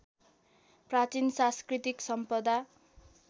प्राचीन साँस्कृतिक सम्पदा